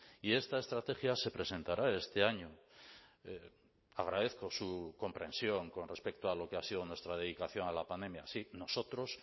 y esta estrategia se presentará este año agradezco su comprensión con respecto a lo que ha sido nuestra dedicación a la pandemia sí nosotros